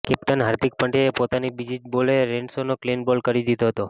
captain Hardik પંડ્યાએ પોતાની બીજી જ બોલે રેનશોને ક્લિન બોલ્ડ કરી દીધો હતો